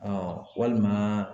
walima